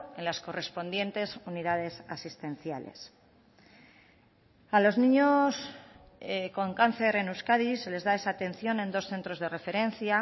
en las correspondientes unidades asistenciales a los niños con cáncer en euskadi se les da esa atención en dos centros de referencia